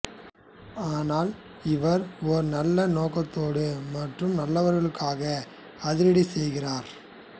ஆனால் இவர் ஒரு நல்ல நோக்கத்தோடு மற்றும் நல்லவர்களுக்காக அதிரடி செய்கிறார்